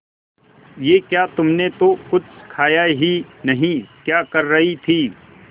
ये क्या तुमने तो कुछ खाया ही नहीं क्या कर रही थी